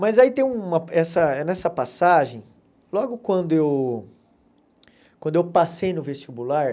Mas aí tem uma, essa é nessa passagem, logo quando eu quando eu passei no vestibular,